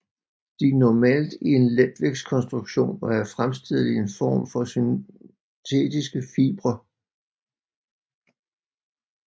De normalt i en letvægtskonstruktion og er fremstillet i en form or synetiske fibre